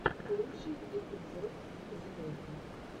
лучший эпизод зе рока